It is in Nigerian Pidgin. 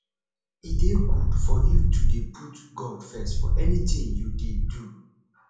e dey good for you to dey put god first for anything you dey do